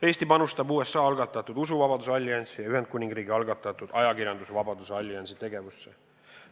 Eesti panustab USA algatatud usuvabaduse alliansi ja Ühendkuningriigi algatatud ajakirjandusvabaduse alliansi tegevusse.